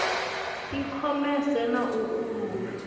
i khomese na u uula